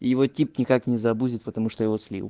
его тип никак не забудет потому что я его слил